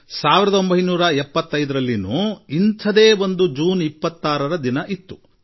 ಆದರೆ 1975ರ ಜೂನ್ 26 ಸಹ ಒಂದು ದಿನವಾಗಿತ್ತು